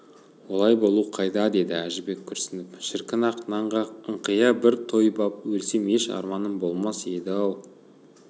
олай болу қайда деді әжібек күрсініп шіркін ақ нанға ыңқия бір тойып ап өлсем еш арманым болмас еді-ау